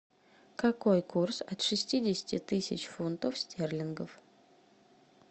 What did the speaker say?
какой курс от шестидесяти тысяч фунтов стерлингов